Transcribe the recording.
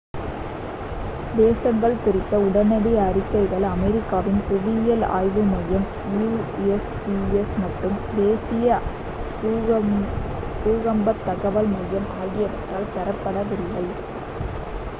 சேதங்கள் குறித்த உடனடி அறிக்கைகள் அமெரிக்காவின் புவியியல் ஆய்வு மையம் யு.எஸ்.ஜி.எஸ் மற்றும் அதன் தேசியப் பூகம்பத் தகவல் மையம் ஆகியவற்றால் பெறப்படவில்லை